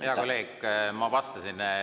Hea kolleeg, ma vastasin.